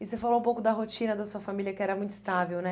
E você falou um pouco da rotina da sua família, que era muito estável, né?